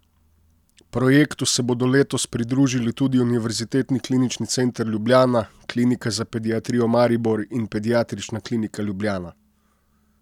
Projektu se bodo letos pridružili tudi Univerzitetni klinični center Ljubljana, Klinika za pediatrijo Maribor in Pediatrična klinika Ljubljana.